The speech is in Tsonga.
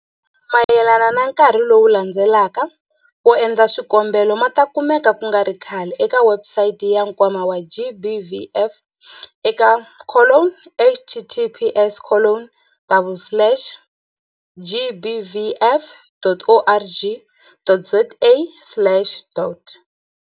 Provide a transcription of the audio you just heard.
Mahungu mayelana na nkarhi lowu landzelaka wo endla swikombelo ma ta kumeka ku nga ri khale eka webusayiti ya Nkwama wa GBVF eka colon https colon double slash gbvf.org.za slash dot.